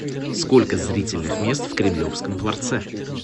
сколько зрительных мест в кремлевском дворце